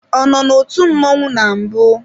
Ọ nọ n'otu mmọnwụ na mbụ?